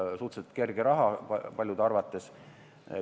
Suhteliselt kerge raha paljude arvates.